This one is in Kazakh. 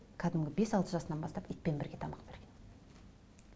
кәдімгі бес алты жасынан бастап итпен бірге тамақ берген